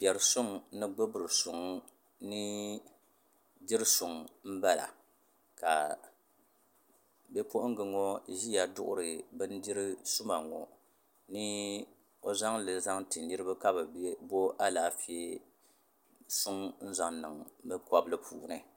Biɛri suŋ ni gbibiri suŋ ni diri suŋ m bala ka bi'puɣinga ŋɔ ʒia duɣuri bindiri suma ŋɔ ni o zaŋli zaŋti niriba ka bɛ bo alaafee suŋ n zaŋ niŋ bɛ kobli puuni.